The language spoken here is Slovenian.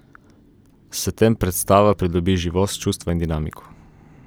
S tem predstava pridobi živost, čustva in dinamiko.